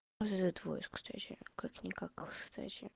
можно за твой кстати как-никак кстати